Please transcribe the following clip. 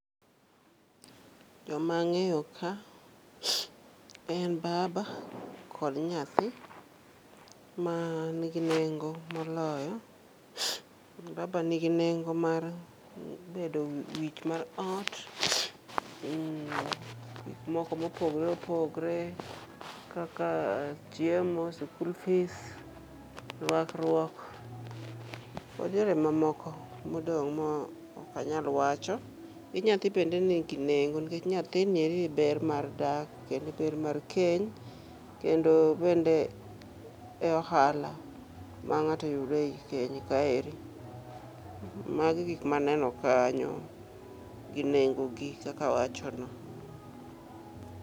Joma ang'eyo en gin baba kod nyathi manigi nengo moloyo. Baba nigi nengo mar bedo wich mar ot, gikmoko mopogore opogore kaka chiemo, school fees, rwakruok kod yore mamoko modong' ma ok anyal wacho. Gi nyathi bende nigi nengo nikech nyathini eri e ber mar dak kendo e ber mar keny kendo bende e ohala mang'ato yudo e i keny kaeri. Magi gikmaneno kanyo gi nengogi kaka awachono.